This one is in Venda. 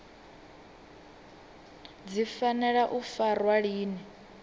dzi fanela u farwa lini